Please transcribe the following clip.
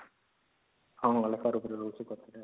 ହଁ ଲେଖିବାର ଉପରେ ରହୁଛି